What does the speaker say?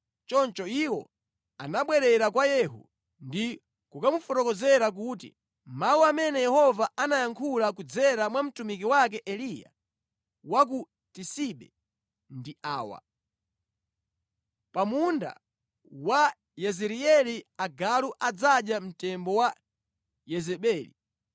Choncho iwo anabwerera kwa Yehu ndi kukamufotokozera kuti, “Mawu amene Yehova anayankhula kudzera mwa mtumiki wake Eliya wa ku Tisibe ndi awa: Pa munda wa ku Yezireeli agalu adzadya mtembo wa Yezebeli.